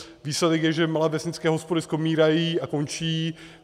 Výsledek je, že malé vesnické hospody skomírají a končí.